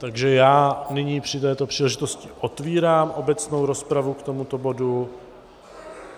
Takže já nyní při této příležitosti otevírám obecnou rozpravu k tomuto bodu.